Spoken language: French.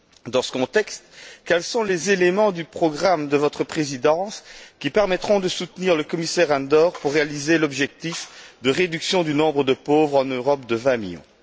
Dans ce contexte, quels sont les éléments du programme de votre présidence qui permettront de soutenir le commissaire Andor dans ses efforts pour réaliser l'objectif de réduction du nombre de pauvres en Europe de vingt millions?